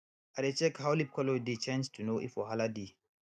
i dey check how leaf colour dey change to know if wahala dey